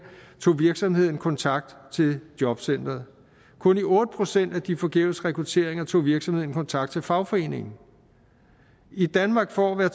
tog virksomheden kontakt til jobcenteret kun i otte procent af de forgæves rekrutteringer tog virksomheden kontakt til fagforeningen i danmark får hver